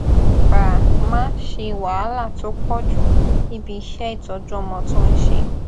bàa máa ṣe wàhálà tó pọjù níbi iṣẹ ìtọjú ọmọ tó n ṣe